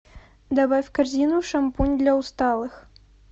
добавь в корзину шампунь для усталых